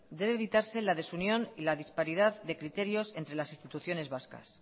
debe evitarse la desunión y la disparidad de criterios entre las instituciones vascas